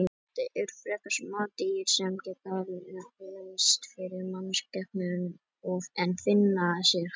Þetta eru frekar smá dýr sem geta leynst fyrir mannskepnunni en finna sér nægt æti.